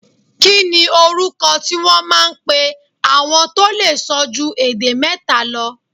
Kí ni orúkọ tí wón máa ń pe àwọn tó lè sọ ju èdè mẹ́ta lọ?